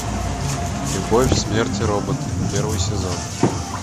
любовь смерть и роботы первый сезон